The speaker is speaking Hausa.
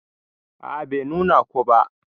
A'a Bai nuna ko ba.